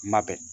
Kuma bɛn